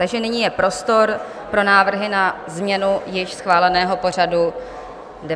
Takže nyní je prostor pro návrhy na změnu již schváleného pořadu 19. schůze.